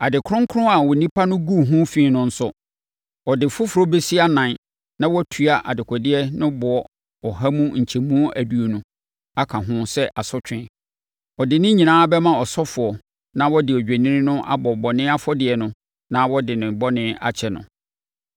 Ade kronkron a onipa no guu ho fi no nso, ɔde foforɔ bɛsi anan na watua dekodeɛ no boɔ ɔha mu nkyɛmu aduonu aka ho sɛ asotwe. Ɔde ne nyinaa bɛma ɔsɔfoɔ na ɔde odwennini no abɔ bɔne afɔdeɛ no na wɔde ne bɔne akyɛ no.